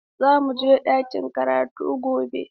Za mu je ɗakin karatu gobe.